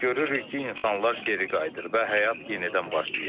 Görürük ki, insanlar geri qayıdır və həyat yenidən başlayır.